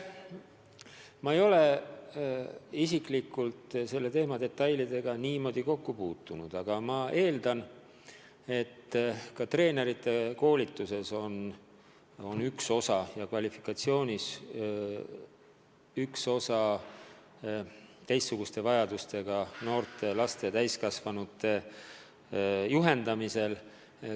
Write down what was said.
Ma ei ole isiklikult selle teema detailidega kokku puutunud, aga ma eeldan, et ka treenerite koolitus hõlmab ühe osana teistsuguste vajadustega noorte, laste ja täiskasvanute juhendamise erisusi.